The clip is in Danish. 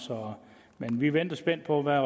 men vi venter spændt på hvad